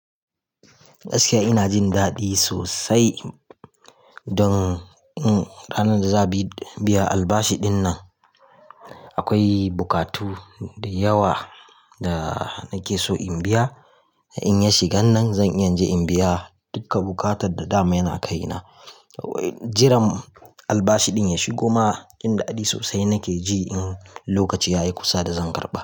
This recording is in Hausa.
Gaskiya ina jin daɗi sosai don ranar da za biya albashi dinnan. Akwai bukatu dayawa da nake so in biya. In ya shigan nan zan iya in biya duka bukata da dama yana kai na. Jiran albashi din ya shigo ma, jin dadi sosai nake ji, in lokaci yayi kusa da zan karɓa.